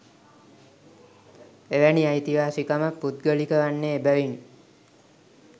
එවැනි අයිතිවාසිකමක් පුද්ගලික වන්නේ එබැවිණි.